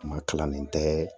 Kuma kilalen tɛ